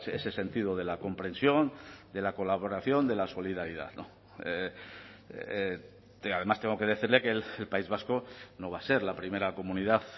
ese sentido de la comprensión de la colaboración de la solidaridad además tengo que decirle que el país vasco no va a ser la primera comunidad